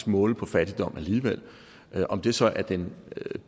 måle på fattigdom alligevel om det så er den